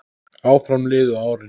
Áfram liðu árin.